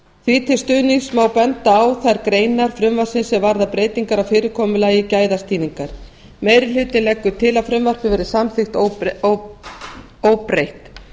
því til stuðnings má benda á þær greinar frumvarpsins sem varða breytingar á fyrirkomulagi gæðastýringar meiri hlutinn leggur til að frumvarpið verði samþykkt óbreytt